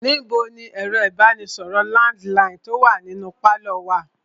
Níbo ni ẹ̀rọ ìbánisọ̀rọ̀ landiline tí o wá nínú pálọ̀ wa?